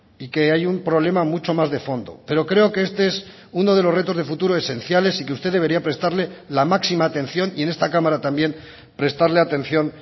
y que hay un problema mucho más de fondo pero creo que este es uno de los retos de futuro esenciales y que usted debería prestarle la máxima atención y en esta cámara también prestarle atención